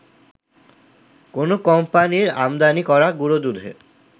কোনো কোম্পানির আমদানি করা গুঁড়োদুধে